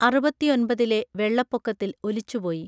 അറുപത്തിയൊൻപതിലെ വെള്ളപൊക്കത്തിൽ ഒലിച്ചുപോയി